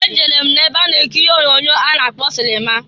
E jere m na-ebe a na-ekiri ihe onyoonyo a na-akpọ sịlịma.